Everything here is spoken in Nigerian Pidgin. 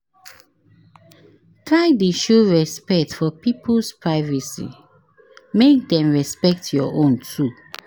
Try de show respect for pipo's privacy make dem respect your own too